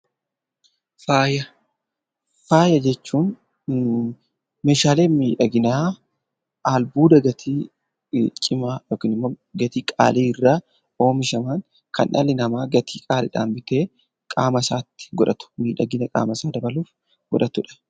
Faaya Faaya jechuun meeshaalee miidhaginaa albuuda gatii cimaa (gatii qaalii) irraa oomishaman kan dhalli namaa gatii qaaliidhaan bitee qaama isaatti godhatu miidhagina qaama isaa dabaluuf godhatu dha.